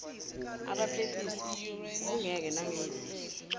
abaphephise ubengeke nangengozi